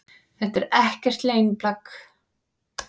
Þetta er ekkert leyniplagg